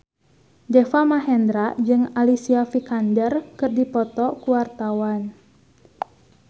Deva Mahendra jeung Alicia Vikander keur dipoto ku wartawan